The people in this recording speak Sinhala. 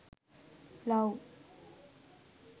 love